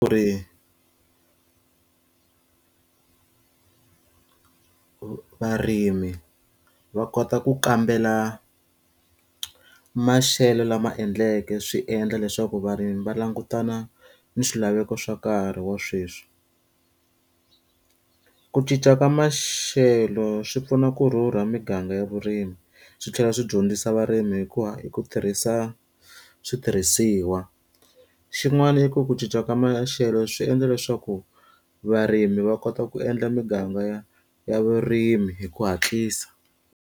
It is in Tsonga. Ku ri varimi va kota ku kambela maxelo lama endleke swi endla leswaku varimi va langutana ni swilaveko swa nkarhi wa sweswi. Ku cinca ka maxelo swi pfuna ku rhurha miganga ya vurimi, swi tlhela swi dyondzisa varimi hi ku hi ku tirhisa switirhisiwa. Xin'wana i ku ku cinca ka maxelo swi endla leswaku varimi va kota ku endla miganga ya ya vurimi hi ku hatlisa.